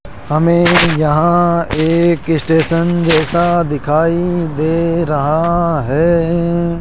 हमें यहां एक स्टेशन जैसा दिखाई दे रहा है।